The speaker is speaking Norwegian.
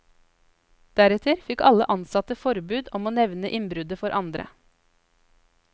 Deretter fikk alle ansatte forbud om å nevne innbruddet for andre.